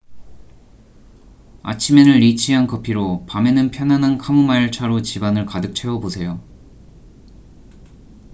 아침에는 리치한 커피로 밤에는 편안한 카모마일 차로 집안을 가득 채워보세요